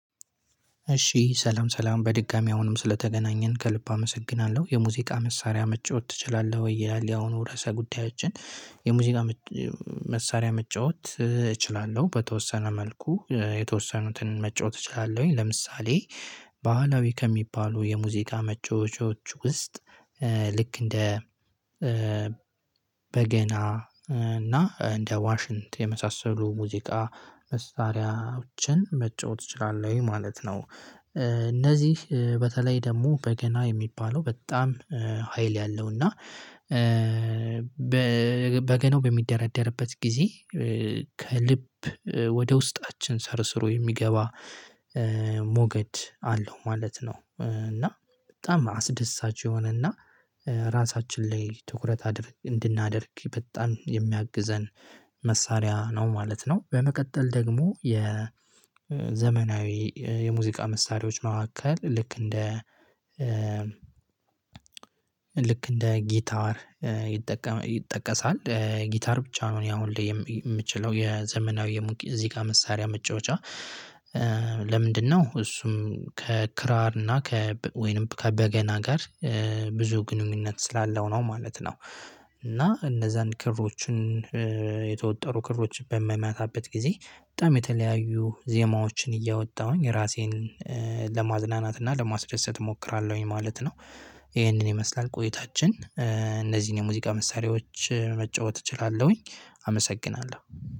እሺ ሰላም ሰላም በድጋሚ አሁንም ስለተገናኘን ከልብ አመሰግናለሁ የሙዚቃ መሳሪያ መጫወት ትችላለህ? ወይ ይላል የአሁኑ ርዕሰ ጉዳያችን። የሙዚቃ መሳሪያ መጫወት እችላለሁ በተወሰነ መልኩ የተወሰኑትን መጫወት እችላለሁኝ። ለምሳሌ ባህላዊ ከሚባሉ የሙዚቃ መጫወቻዎች ውስጥ ልክ እንደ በገና እና እንደ ዋሽንት የመሳሰሉ ሙዚቃ መሳሪያዎችን መጫወት እችላለሁ ማለት ነው። እነዚህ በተለይ ደግሞ በገና የሚባለው በጣም ሀይል ያለው እና በገናው በሚደራደርበት ጊዜ ከልብ ወደ ውስጣችን ሰርሰሮ የሚገባ ሞገድ አለው ማለት ነው። እና በጣም አስደሳች የሆነና ራሳችን ላይ ትኩረት አድርግ እንድናደርግ በጣም የሚያግዘን መሳሪያ ነው ማለት ነው። በመቀጠል ደግሞ የ ዘመናዊ የሙዚቃ መሳሪያዎች መካከል ልክ እንደ ልክ እንደ ጊታር ይጠቀሳል ጊታር ብቻ ነው እኔ አሁን ላይ የምችለው የዘመናዊ እዚህ ጋር መሳሪያ መጫወቻ። ለምንድነው? እሱም ከክራር እና ከ ወይንም ከበገና ጋር ብዙ ግንኙነት ስላለው ነው ማለት ነው። እና እነዛን ክሮችን የተወጠሩ ክሮች በመመታበት ጊዜ በጣም የተለያዩ ዜማዎችን እያወጣሁኝ ራሴን ለማዝናናትና ለማስደሰት እሞክራለሁኝ ማለት ነው። ይሄንን ይመስላል ቆይታችን እነዚህን የሙዚቃ መሳሪያዎች መጫወት እችላለሁኝ አመሰግናለሁ።